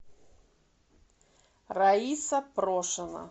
раиса прошина